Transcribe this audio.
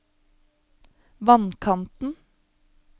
vannkanten